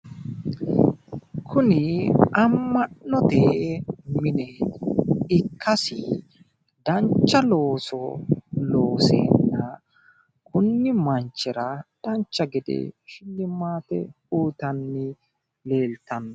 Kunni ama'note mine ikkasi dancha looso looseenna kunni manchira dancha gede shilimaate uyitanni leeltano.